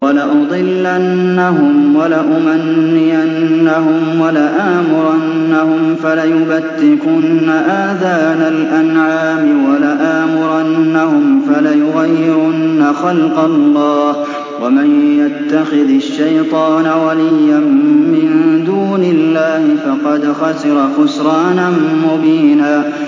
وَلَأُضِلَّنَّهُمْ وَلَأُمَنِّيَنَّهُمْ وَلَآمُرَنَّهُمْ فَلَيُبَتِّكُنَّ آذَانَ الْأَنْعَامِ وَلَآمُرَنَّهُمْ فَلَيُغَيِّرُنَّ خَلْقَ اللَّهِ ۚ وَمَن يَتَّخِذِ الشَّيْطَانَ وَلِيًّا مِّن دُونِ اللَّهِ فَقَدْ خَسِرَ خُسْرَانًا مُّبِينًا